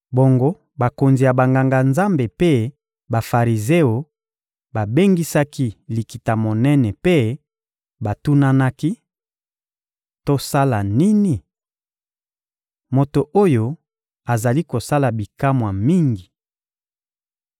Bongo bakonzi ya Banganga-Nzambe mpe Bafarizeo babengisaki Likita-Monene mpe batunanaki: — Tosala nini? Moto oyo azali kosala bikamwa mingi.